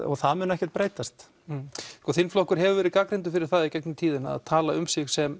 og það mun ekkert breytast þinn flokkur hefur verið gagnrýndur fyrir það í gegnum tíðina að tala um sig sem